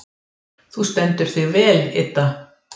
Þú stendur þig vel, Idda!